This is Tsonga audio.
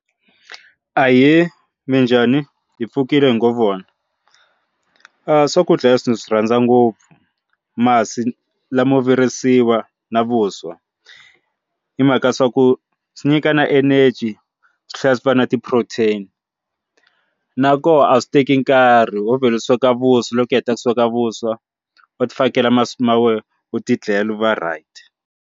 Ahee, minjhani hi pfukile hi ngo vona swakudya leswi ni swi rhandza ngopfu masi lamo virisiwa na vuswa hi mhaka swa ku swi nyika na energy swi tlhela swi va na ti-protein na koho a swi teki nkarhi wo vhela u sweka vuswa loko hi heta ku sweka vuswa u ti fakela masi ma wena u tindlelo u va right.